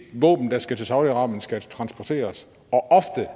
våben der skal til saudi arabien skal transporteres